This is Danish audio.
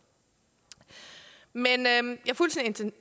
men jeg